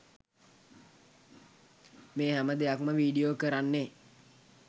මේ හැම දෙයක්‌ම වීඩියෝ කරන්නේ